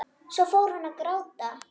Svo fór hún að gráta.